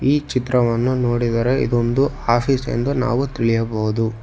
ಈ ಚಿತ್ರವನ್ನು ನೋಡಿದರೆ ಇದೊಂದು ಆಫೀಸ್ ಎಂದು ನಾವು ತಿಳಿಯಬಹುದು.